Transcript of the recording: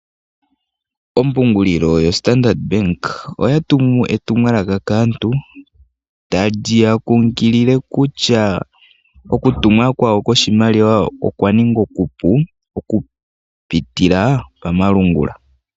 Ompungulilo yo Standard Bank oya tumu etumwalaka kaantu. Tali ya kunkilile kutya oku tuma kwayo oshimaliwa okwa ninga oku pu oku pitila pamalungula.